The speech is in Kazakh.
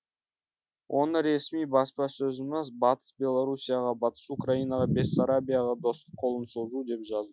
оны ресми баспасөзіміз батыс белоруссияға батыс украинаға бессарабияға достық қолын созу деп жазды